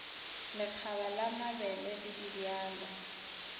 lekgaba la mabele le dibjalo